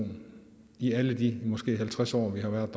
en i alle de måske halvtreds år vi har været